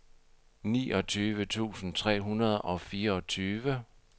niogtyve tusind tre hundrede og fireogtyve